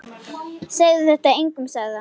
Segðu þetta engum sagði hann.